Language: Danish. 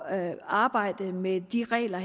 at arbejde med de regler